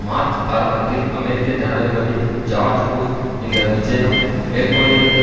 March ஆரம்பத்தில் அமெரிக்க ஜனாதிபதி ஜார்ஜ் புஷ் இந்த விஜயம் மேற்கொண்டிருந்த